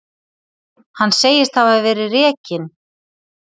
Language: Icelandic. Hann segist hafa verið rekinn.